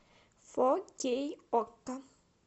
фо кей окко